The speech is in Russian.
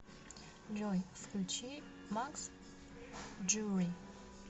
джой включи макс джури